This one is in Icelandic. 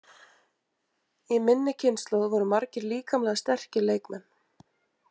Í minni kynslóð voru margir líkamlega sterkir leikmenn.